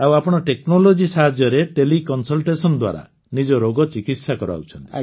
ଆଉ ଆପଣ ଟେକ୍ନୋଲୋଜି ସାହାଯ୍ୟରେ ଟେଲିକନସଲଟେସନ ଦ୍ୱାରା ନିଜ ରୋଗ ଚିକିତ୍ସା କରାଉଛନ୍ତି